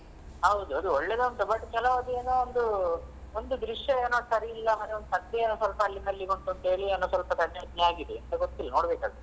ಹಾದು ಅದು ಒಳ್ಳೇದು ಉಂಟು but ಕೆಲವುದು ಏನೋ ಒಂದು ಒಂದು ದೃಶ್ಯವೇನೋ ಸರಿಲ್ಲಾ ಅದು ಸತ್ಯ ಸ್ವಲ್ಪ ಅಲ್ಲಿಂದಲ್ಲಿಗೆ ಉಂಟು ಅಂತ ಹೇಳಿ ಏನೋ ಸ್ವಲ್ಪ ಕಸಿವಿಸಿ ಆಗಿದೆ ಎಂತ ಗೊತ್ತಿಲ್ಲ ನೋಡ್ಬೇಕು ಅದು.